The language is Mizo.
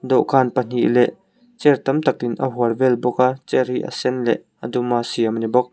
dawhkan pahnih leh chair tam tak in a hual vel bawk a chair hi a sen leh a dum a siam a ni bawk.